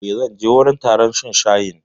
E, zan je wajen taron shan shayin.